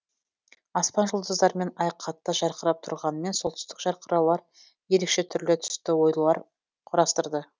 аспан жұлдыздармен ай қатты жарқырап тұрғанымен солтүстік жарқыраулар ерекше түрлі түсті оюлар құрастырды